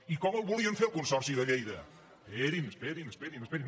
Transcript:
i com el volien fer el consorci de lleida esperin esperin esperin